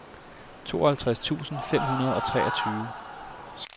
tooghalvtreds tusind fem hundrede og treogtyve